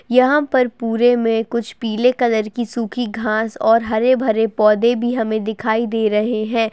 यहाँ पर पुरे में कुछ पीले कलर की सुखी घांस और हरे-भरे पौधे भी हमे दिखाई दे रहे हैं ।